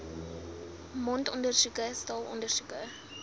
mondondersoeke x straalondersoeke